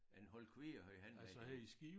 En hold kvier havde han dengang